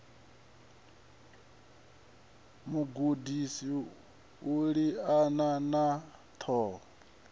mugudi u liana na ṱhoho